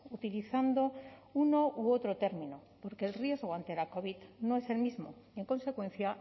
utilizando uno u otro término porque el riesgo ante la covid no es el mismo en consecuencia